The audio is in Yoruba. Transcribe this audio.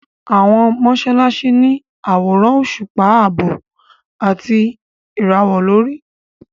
Àwọn mọ́sálásí ní àwòrán òṣùpá àbọ̀ àti ìràwọ̀ lórí.